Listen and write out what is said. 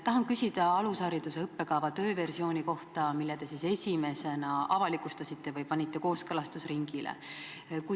Tahan küsida alushariduse õppekava tööversiooni kohta, mille te esimesena avalikustasite või panite kooskõlastusringile.